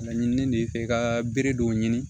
Laɲini de ye fɛ i ka bere dɔw ɲini